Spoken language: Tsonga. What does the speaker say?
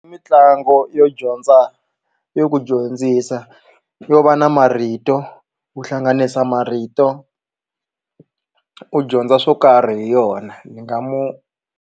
Mitlangu yo dyondza yo ku dyondzisa yo va na marito ku hlanganisa marito u dyondza swo karhi hi yona ni nga mu.